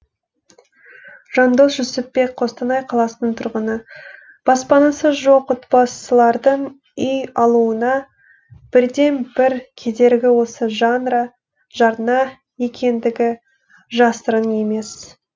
жандос жүсіпбек қостанай қаласының тұрғыны баспанасы жоқ отбасылардың үй алуына бірден бір кедергі осы жарна екендігі жасырын емес